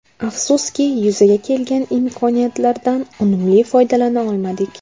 Afsuski yuzaga kelgan imkoniyatlardan unumli foydalana olmadik.